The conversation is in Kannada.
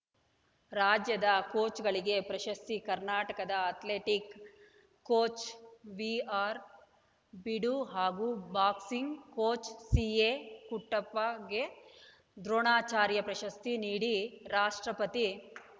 ರಾಜ್ಯದ ಕೋಚ್‌ಗಳಿಗೆ ಪ್ರಶಸ್ತಿ ಕರ್ನಾಟಕದ ಅಥ್ಲೆಟಿಕ್ಸ್‌ ಕೋಚ್‌ ವಿಆರ್‌ಬೀಡು ಹಾಗೂ ಬಾಕ್ಸಿಂಗ್‌ ಕೋಚ್‌ ಸಿಎ ಕುಟ್ಟಪ್ಪಗೆ ದ್ರೋಣಾಚಾರ್ಯ ಪ್ರಶಸ್ತಿ ನೀಡಿ ರಾಷ್ಟ್ರಪತಿ